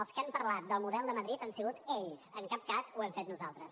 els que han parlat del model de madrid han sigut ells en cap cas ho hem fet nosaltres